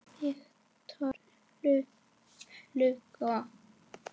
Victor Hugo